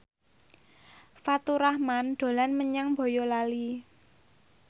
Faturrahman dolan menyang Boyolali